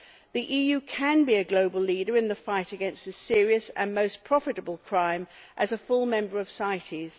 The EU can be a global leader in the fight against this serious and most profitable crime as a full member of CITES.